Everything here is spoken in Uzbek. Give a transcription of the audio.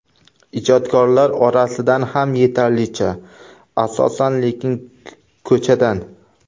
Ijodkorlar orasidan ham yetarlicha, asosan lekin ko‘chadan.